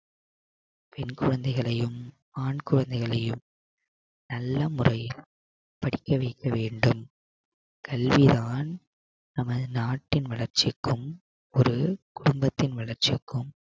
பெண் குழந்தைகளையும் ஆண் குழந்தைகளையும் நல்ல முறையில் படிக்க வைக்க வேண்டும் கல்விதான் நமது நாட்டின் வளர்ச்சிக்கும் ஒரு குடும்பத்தின் வளர்ச்சிக்கும்